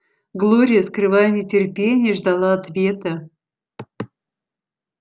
глория скрывая нетерпение ждала ответа